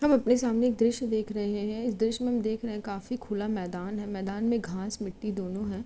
हम अपने सामने एक दृश्य देख रहे है हैं इस दृश्य में हम देख रहे है काफी खुला मैंदान है मैंदान में घाँस-मिट्टी दोनों है।